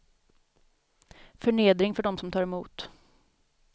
Förnedring för dem som tar emot.